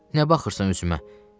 Nə baxırsan üzümə?